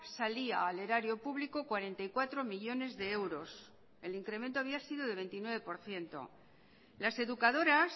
salía al erario público cuarenta y cuatro millónes de euros el incremento había sido de veintinueve por ciento las educadoras